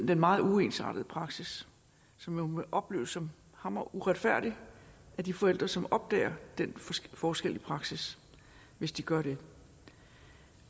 den meget uensartede praksis som må opleves som hammeruretfærdig af de forældre som opdager den forskel i praksis hvis de gør det